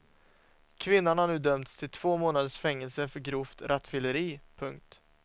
Kvinnan har nu dömts till två månaders fängelse för grovt rattfylleri. punkt